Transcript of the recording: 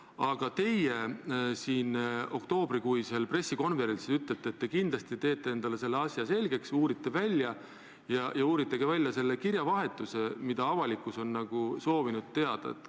Aga teie siin oktoobrikuisel pressikonverentsil ütlesite, et teete selle asja endale kindlasti selgeks ja küsite välja ka kirjavahetuse, mille kohta avalikkuski on soovinud teavet saada.